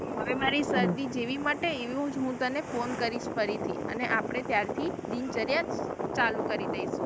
હવે મારી શરદી જેવી જ મટશે એવુ જ હું તને phone કરીશ ફરીથી અને આપડે ત્યાર થી દિન ચાર્ય ચાલુ કરી દઇશુ.